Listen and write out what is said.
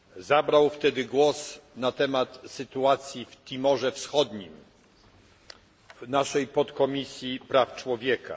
Zabrał wtedy głos na temat sytuacji w Timorze Wschodnim w naszej Podkomisji Praw Człowieka.